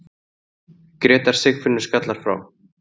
Grétar Sigfinnur skallar frá.